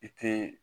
I te